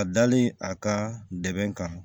A dalen a ka dɛmɛ kan